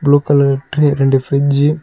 Blue colour tray ரெண்டு ஃபிரிட்ஜி .